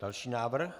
Další návrh